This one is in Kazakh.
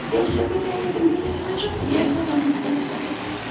велосипед әйелдің велосипеді жоқ қой ер баланың велосипеді